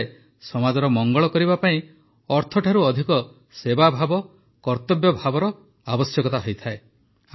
କୁହାଯାଏ ସମାଜର ମଙ୍ଗଳ କରିବା ପାଇଁ ଅର୍ଥଠୁ ଅଧିକ ସେବାଭାବ କର୍ତ୍ତବ୍ୟଭାବର ଅଧିକ ଆବଶ୍ୟକତା ହୋଇଥାଏ